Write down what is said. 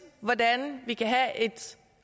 hvordan vi kan have